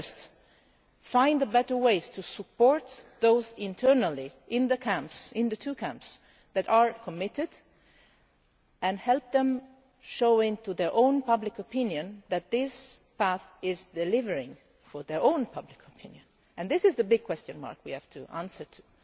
So first, find better ways to support those internally in the two camps that are committed and help them show their own public opinion that this path is delivering for their own public opinion. This is the big question mark that we have to find an answer to.